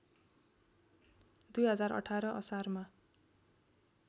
२०१८ असारमा